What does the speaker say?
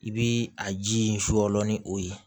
I bi a ji in fɔ ni o ye